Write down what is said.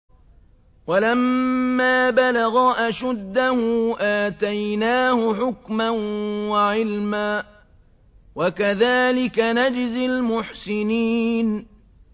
وَلَمَّا بَلَغَ أَشُدَّهُ آتَيْنَاهُ حُكْمًا وَعِلْمًا ۚ وَكَذَٰلِكَ نَجْزِي الْمُحْسِنِينَ